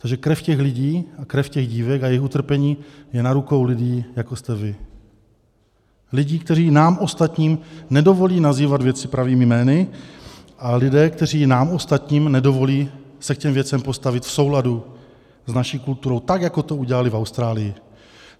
Takže krev těch lidí a krev těch dívek a jejich utrpení je na rukou lidí, jako jste vy, lidí, kteří nám ostatním nedovolí nazývat věci pravými jmény a lidí, kteří nám ostatním nedovolí se k těm věcem postavit v souladu s naší kulturou, tak jako to udělali v Austrálii.